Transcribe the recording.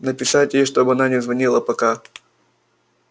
написать ей чтобы она не звонила пока